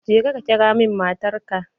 Je ka ƙira min matar ka!